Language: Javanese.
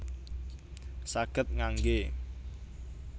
Saged ngangge